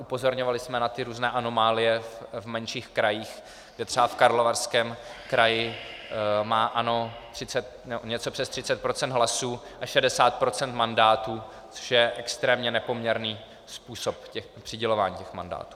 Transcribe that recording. Upozorňovali jsme na ty různé anomálie v menších krajích, kde třeba v Karlovarském kraji má ANO něco přes 30 % hlasů a 60 % mandátů, což je extrémně nepoměrný způsob přidělování těch mandátů.